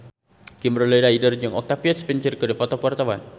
Kimberly Ryder jeung Octavia Spencer keur dipoto ku wartawan